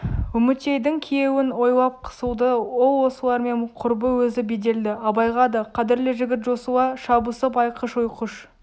үмітейдің күйеуін ойлап қысылды ол осылармен құрбы өзі беделді абайға да қадірлі жігіт жосыла шабысып айқыш-ұйқыш